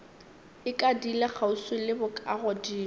e ikadile kgauswi le bokagodimo